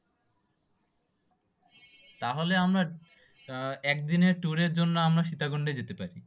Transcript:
তা হলে আমরা আহ একদিনের tour এর জন্য আমরা সীতাকুন্ড যেতে পারি।